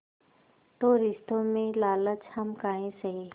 तो रिश्तों में लालच हम काहे सहे